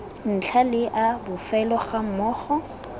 ntlha le a bofelo gammogo